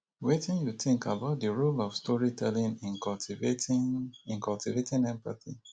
wetin you think about di role of storytelling in cultivating in cultivating empathy